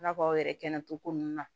I n'a fɔ aw yɛrɛ kɛnɛcogo ninnu na